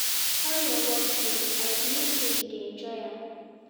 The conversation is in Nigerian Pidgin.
How your work dey, i believe say you dey enjoy am.